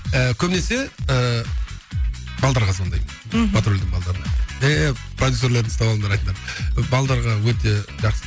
і көбінесе ыыы звондаймын мхм патрульдің балаларына продюссерлеріңді ұстап алдыңдар айтыңдар деп өте жақсы